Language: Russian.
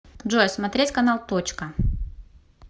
джой смотреть канал точка